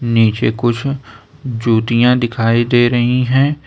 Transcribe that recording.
नीचे कुछ जूतियां दिखाई दे रही हैं।